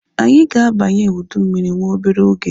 Anyị ga-abanye ụdị mmiri nwa obere oge